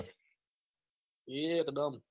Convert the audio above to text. એક દમ